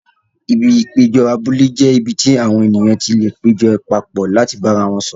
Ibi ìpéjọ abúlé jẹ́ ibi tí àwọn ènìyàn ti lè péjọ papọ̀ láti bára wọn sọ̀rọ̀.